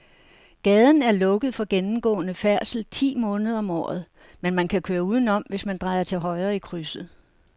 Gaden er lukket for gennemgående færdsel ti måneder om året, men man kan køre udenom, hvis man drejer til højre i krydset.